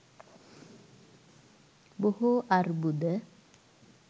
බොහෝ අර්බුද